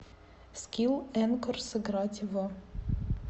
скилл энкор сыграть в